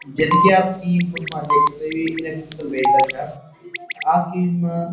जन कि आप ई फोटु मा देख सकद यू इलेक्ट्रिकल वहीकल छा आज की इज मा --